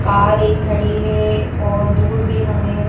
car एक खड़ी है और दूर भी हमें--